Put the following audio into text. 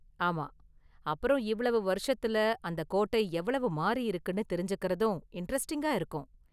ஆமா, அப்பறம் இவ்வளவு வருஷத்துல அந்த கோட்டை எவ்வளவு மாறியிருக்குன்னு தெரிஞ்சுக்கிறதும் இண்டரெஸ்ட்டிங்கா இருக்கும்.